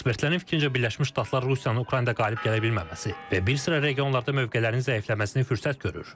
Ekspertlərin fikrincə, Birləşmiş Ştatlar Rusiyanın Ukraynada qalib gələ bilməməsi və bir sıra regionlarda mövqelərinin zəifləməsini fürsət görür.